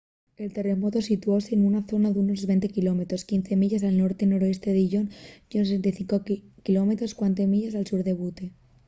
el terremotu situóse nuna zona d’unos 20 km 15 milles al norte noreste de dillon y unos 65 km 40 milles al sur de butte